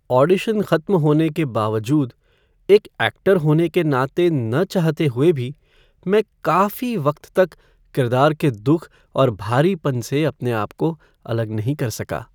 Audition खत्म होने के बावजूद, एक ऐक्टर होने के नाते न चाहते हुए भी, मैं काफी वक्त तक किरदार के दुख और भारीपन से अपने आपको अलग नहीं कर सका।